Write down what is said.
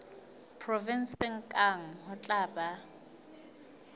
provenseng kang ho tla ba